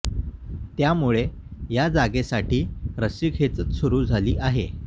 त्यामुळे या जागेसाठी रस्सीखेच सुरू झाली आहे